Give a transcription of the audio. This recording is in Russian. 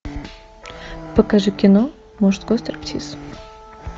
покажи кино мужской стриптиз